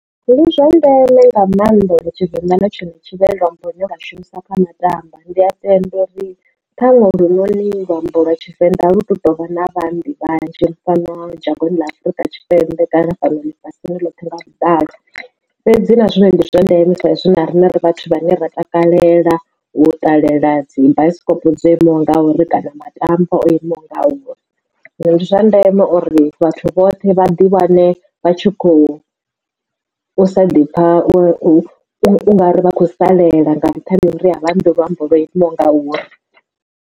Luzwa ndeme nga maanḓa uri tshivenḓa na tshone tshi vhe luambo lune lwa shumiswa kha matambwa, ndi a tenda uri ṱhaṅwe ulu noni luambo lwa tshivenḓa alu tou vha na vhaambi vhanzhi fhano dzhangoni ḽa Afurika Tshipembe kana fhano ḽifhasi ḽothe nga vhuḓalo. Fhedzi na zwone ndi zwa ndeme sa izwi na riṋe ri vhathu vhane ra takalela u ṱalela dzi bioskop dzo imaho ngauri kana matambwa o imaho ngauri zwino ndi zwa ndeme uri vhathu vhoṱhe vha ḓi wane vha tshi khou u sa ḓi pfha u nga ri vha khou salela nga nṱhani ha uri avha ambi luambo lwo imaho ngauri.